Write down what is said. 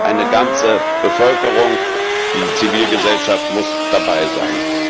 Eine ganze Bevölkerung, die Zivilgesellschaft, muss dabei sein.